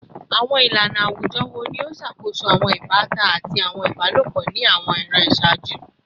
Awọn ilana awujọ wo ni o ṣakoso awọn ibatan ati awọn ibalopọ ni awọn iran iṣaaju?